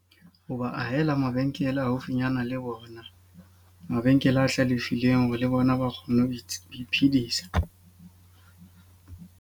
Ho ba ahela mabenkele haufinyana le bona. Mabenkele a hlalefileng hore le bona ba kgone ho iphidisa.